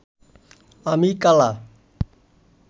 আমি কালা